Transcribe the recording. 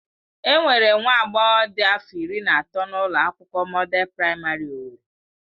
Enwere nwa agbọghọ dị afọ iri na atọ na ụlọ akwụkwọ Mọdel Praịmarị owerri.